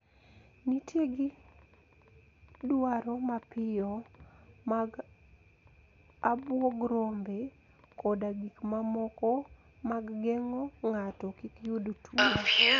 Nitie gi dwaro mapiyo mag abwog rombe koda gik mamoko mag geng`o ng`ato kik yud tuo